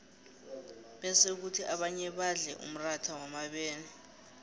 bese khuthi abanye badle umratha wamabele